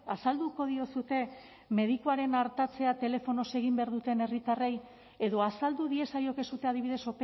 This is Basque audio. azalduko diozue medikuaren artatzea telefonoz egin behar duten herritarrei edo azaldu diezaiokezue adibidez